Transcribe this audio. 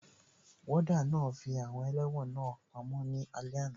Wọ́ọ́dà náà fi àwọn ẹlẹ́wọ̀n náà pamọ́ ní alé àná